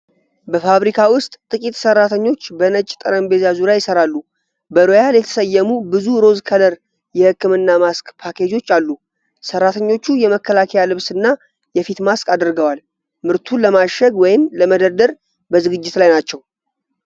በፋብሪካ ውስጥ ጥቂት ሰራተኞች በነጭ ጠረጴዛ ዙሪያ ይሰራሉ። በሮያል የተሰየሙ ብዙ ሮዝ ከለር የህክምና ማስክ ፓኬጆች አሉ። ሰራተኞቹ የመከላከያ ልብስና የፊት ማስክ አድርገዋል። ምርቱን ለማሸግ ወይም ለመደርደር በዝግጅት ላይ ናቸው።